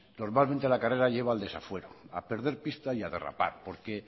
normalmente la carrera lleva al desafuero a perder pista y a derrapar porque